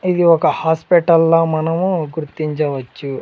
ఇది ఒక హాస్పిటల్ల మనము గుర్తించవచ్చు.